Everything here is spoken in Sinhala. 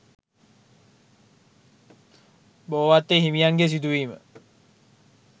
බෝවත්තේ හිමියන්ගේ සිදුවීම